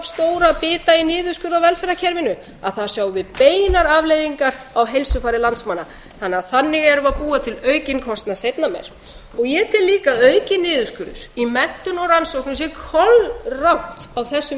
bita í niðurskurð á velferðarkerfinu að þar sjáum við beinar afleiðingar á heilsufari landsmanna þannig erum við að búa til aukinn kostnað seinna meir ég tel líka að aukinn niðurskurður í menntun og rannsóknum sé kolrangt á þessum